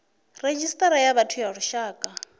redzhisita ya vhathu ya lushaka